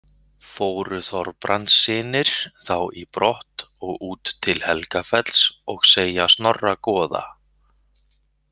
Fóru Þorbrandssynir þá í brott og út til Helgafells og segja Snorra goða.